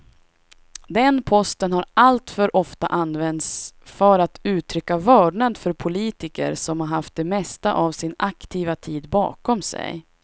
Den posten har alltför ofta använts för att uttrycka vördnad för politiker som haft det mesta av sin aktiva tid bakom sig.